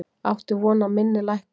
Átti von á minni lækkun